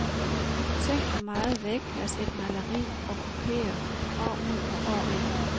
Tænk hvor meget vægplads et maleri okkuperer, år ud og år ind.